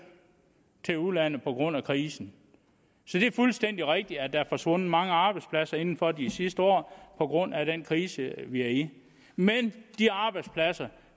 til udlandet på grund af krisen så det er fuldstændig rigtigt at der er forsvundet mange arbejdspladser inden for de sidste år på grund af den krise vi er i men de arbejdspladser